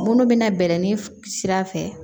Munnu bina bɛrɛni sira fɛ